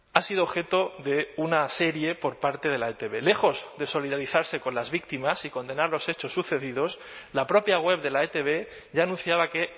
ha sido objeto de una serie por parte de la etb lejos de solidarizarse con las víctimas y condenar los hechos sucedidos la propia web de la etb ya anunciaba que